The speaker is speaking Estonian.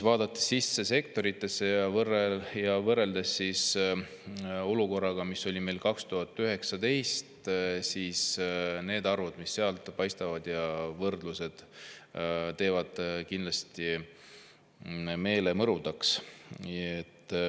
Vaadates meie sektoreid ja võrreldes olukorraga, mis oli meil 2019. aastal, teevad need arvud, mis sealt paistavad, ja võrdlused kindlasti meele mõrudaks.